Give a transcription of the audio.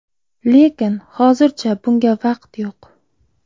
Lekin hozircha bunga vaqt yo‘q.